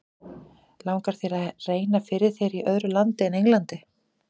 Langar þér að reyna fyrir þér í öðru landi en Englandi?